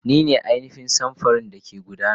Ni ne ainihin samfurin da ke gudana.